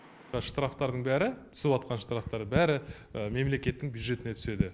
штрафтардың бәрі түсіватқан штрафтар бәрі мемлекеттің бюджетіне түседі